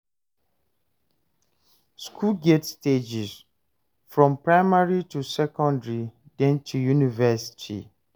School get stages, from primary to secondary then to university